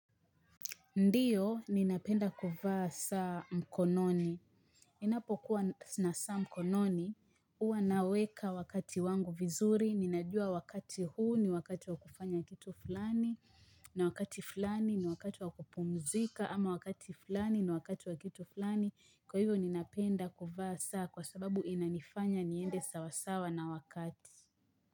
Ndiyo, ninapenda kuvaa saa mkononi. Ninapokuwa sina saa mkononi. Huwa naweka wakati wangu vizuri. Ninajua wakati huu ni wakati wa kufanya kitu fulani. Na wakati fulani ni wakati wa kupumzika. Ama wakati fulani ni wakati wa kitu fulani. Kwa hivyo, ninapenda kuvaa saa kwa sababu inanifanya niende sawasawa na wakati.